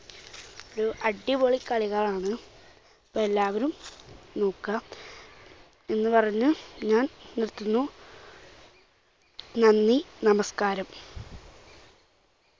അടിപൊളി കളികളാണ്. അപ്പോൾ എല്ലാവരും നോക്കുക എന്ന് പറഞ്ഞ് ഞാൻ നിർത്തുന്നു. നന്ദി, നമസ്കാരം.